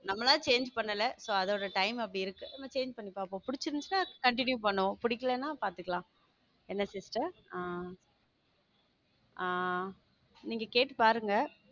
நம்மலா change பண்ணல so அதோட time அப்டி இருக்கு பண்ணி பார்ப்போம் பிடிச்சிருந்தா continue பண்ணுவோம் புடிக்கலைன்னா பாத்துக்கலாம் என்ன sister ஆ ஆ நீங்க கேட்டு பாருங்க